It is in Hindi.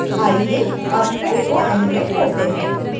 आइए अब ट्रेन को एनीमेट करते हैं